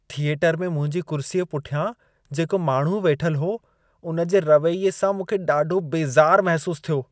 Theatre में मुंहिंजी कुर्सीअ पुठियां जेको माण्हू वेठल हो, उन जे रवैये सां मूंखे ॾाढो बेज़ार महिसूस थियो।